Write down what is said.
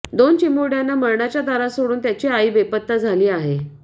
दोन चिमुरड्यांना मरणाच्या दारात सोडून त्यांची आई बेपत्ता झाली आहे